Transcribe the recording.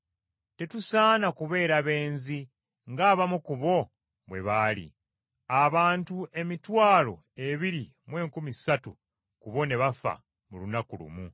Tetusaana kubeera benzi ng’abamu ku bo bwe baali, abantu emitwalo ebiri mu enkumi ssatu ku bo ne bafa mu lunaku lumu.